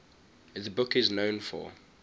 the book is known for